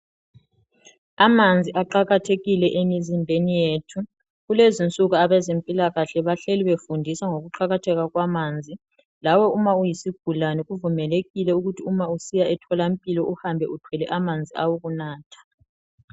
Amanzi aqakathekile emizimbeni yethu. Kulezinsuku abezempilakahle bahleli befundisa ngokuqakatheka kwamanzi, lawe uma uyisigulane kuvimelekile ukuthi uma usiya emtholampilo uhambe uthwele amanzi awokunatha.